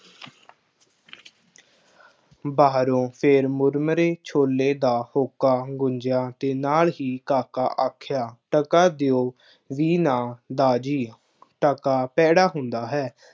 ਬਾਹਰੋਂ ਫੇਰ ਮੁਰਮਰੇ ਛੋਲੇ ਦਾ ਹੋਕਾ ਗੂੰਜ਼ਿਆ ਅਤੇ ਨਾਲ ਹੀ ਕਾਕਾ ਆਖਿਆ, ਟਕਾ ਦਿਓ ਵੀ ਨਾ ਦਾਰ ਜੀ, ਟਕਾ ਭੈੜਾ ਹੁੰਦਾ ਹੈ।